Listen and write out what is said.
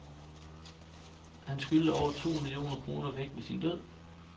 Han skyldte over to millioner kroner væk ved sin død.